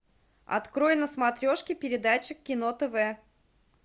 открой на смотрешке передачу кино тв